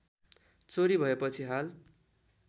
चोरी भएपछि हाल